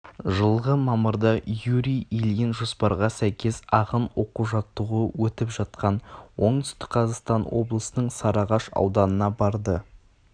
жылғы мамырда юрий ильин жоспарға сәйкес ағын оқу-жаттығуы өтіп жатқан оңтүстік қазақстан облысының сарыағаш ауданына барды